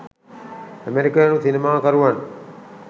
ඇමෙරිකානු සිනමා කරුවන්